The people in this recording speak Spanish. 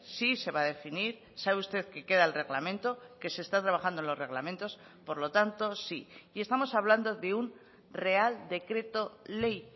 sí se va a definir sabe usted que queda el reglamento que se está trabajando en los reglamentos por lo tanto sí y estamos hablando de un real decreto ley